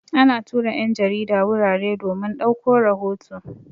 Ana tura 'yan jarida wurare domin ɗauko rahoto.